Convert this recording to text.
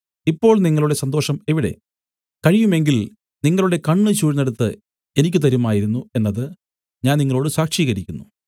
ഇപ്പോൾ നിങ്ങളുടെ സന്തോഷം എവിടെ കഴിയും എങ്കിൽ നിങ്ങളുടെ കണ്ണ് ചൂഴ്ന്നെടുത്ത് എനിക്ക് തരുമായിരുന്നു എന്നത് ഞാൻ നിങ്ങളോടു സാക്ഷികരിക്കുന്നു